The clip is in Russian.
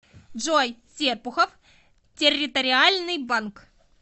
джой серпухов территориальный банк